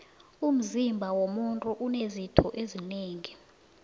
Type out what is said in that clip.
umzima womuntu unezitho zinengi